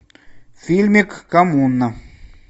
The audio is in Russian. фильмик коммуна